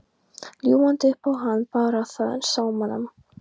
Ljúgandi upp á hann Bárð, þennan sómamann.